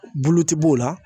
Bulutigi b'o la